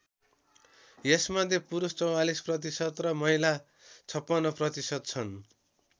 यसमध्ये पुरुष ४४% र महिला ५६% छन्।